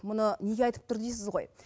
мұны неге айтып тұр дейсіз ғой